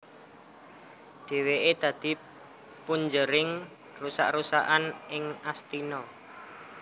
Dheweké dadi punjering rusak rusakan ing Astina